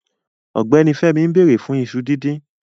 Ọgbẹni Fẹmí n bẹ̀rẹ̀ fun ìṣu dídìn